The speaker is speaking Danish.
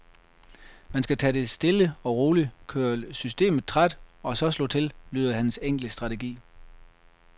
Man skal tage det stille og roligt, køre systemet træt og så slå til, lyder hans enkle strategi.